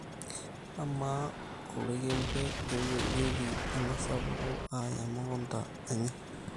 amaa oloikembe keiwuagieki tenasapuku ayaa emukunta enye